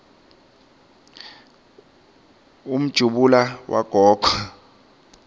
umjumbula wagogo